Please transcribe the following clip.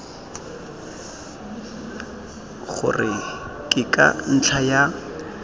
gore ke ka ntlha ya